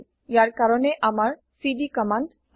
ইয়াৰ কাৰণে আমাৰ CD command আছে